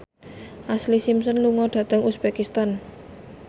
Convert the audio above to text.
Ashlee Simpson lunga dhateng uzbekistan